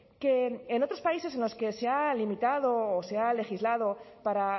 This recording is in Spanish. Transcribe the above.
que en otros países en los que se ha limitado o se ha legislado para